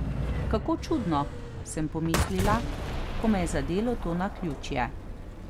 Kako čudno, sem pomislila, ko me je zadelo to naključje.